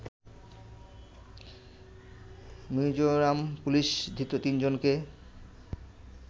Mizoram police ধৃত তিনজনকে